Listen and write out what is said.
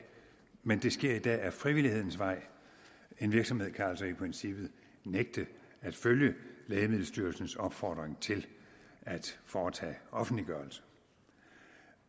men det sker i dag ad frivillighedens vej en virksomhed kan altså i princippet nægte at følge lægemiddelstyrelsens opfordring til at foretage offentliggørelse